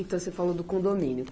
Então, você falou do condomínio.